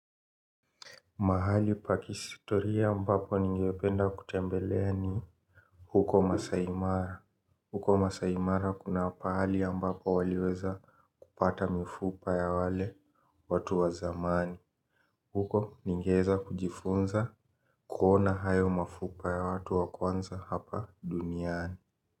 Mahali paki historia ambapo ningependa kutembelea ni huko Masaimara. Huko Masaimara kuna pahali ambapo waliweza kupata mifupa ya wale watu wa zamani. Huko ningeweza kujifunza kuona hayo mafupa ya watu wa kwanza hapa duniani.